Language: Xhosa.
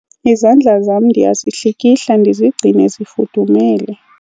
izandla zam ndiyazihlikihla ndizigcine zifudumele